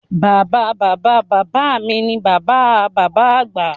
Bàbáa Bàbá Bàbá mi ni Bàbá a Bàbá Àgbà